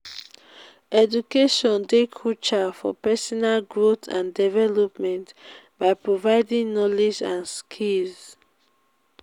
education dey crucial for personal growth and development by providing knowledge and skills.